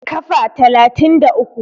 Kafa talatin da uku